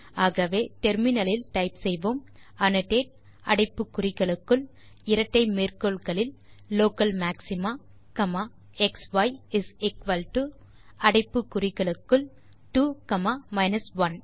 ஆகவே முனையத்தில் டைப் செய்வோம் அன்னோடேட் அடைப்பு குறிகளுக்குள் இரட்டை மேற்கோள் குறிகளுக்குள் local maxima comma xi is equal to அடைப்பு குறிகளுக்குள் 2 காமா 1